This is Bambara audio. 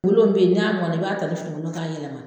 bɛ yen ni a mɔnna i b'a ta ni finikolon ye k'a yɛlɛma